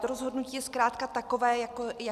To rozhodnutí je zkrátka takové, jaké je.